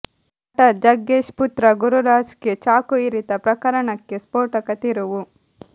ನಟ ಜಗ್ಗೇಶ್ ಪುತ್ರ ಗುರುರಾಜ್ಗೆ ಚಾಕು ಇರಿತ ಪ್ರಕರಣಕ್ಕೆ ಸ್ಫೋಟಕ ತಿರುವು